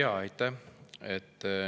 Aitäh!